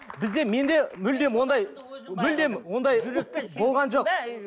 бізде менде мүлдем ондай мүлдем ондай болған жоқ